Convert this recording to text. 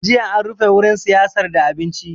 Jiya an rufe wurin siyar da abinci